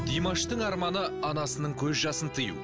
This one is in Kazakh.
димаштың арманы анасының көз жасын тыю